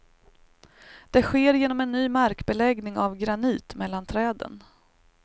Det sker genom en ny markbeläggning av granit mellan träden.